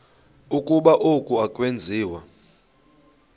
ukuba oku akwenziwa